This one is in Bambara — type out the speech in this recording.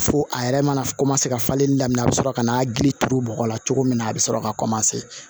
Fo a yɛrɛ mana ka falen daminɛ a bɛ sɔrɔ ka na giri turu bɔgɔ la cogo min na a bɛ sɔrɔ ka